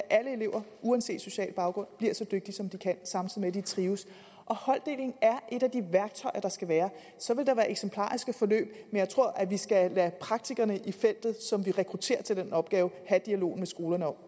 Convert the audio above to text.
at alle elever uanset social baggrund bliver så dygtige som de kan samtidig med at de trives og holddeling er et af de værktøjer der skal være så vil der være eksemplariske forløb men jeg tror at vi skal lade praktikerne i felten som vi rekrutterer til den opgave have dialogen i skolerne om